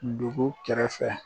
Dugu kɛrɛfɛ